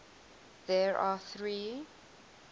there are three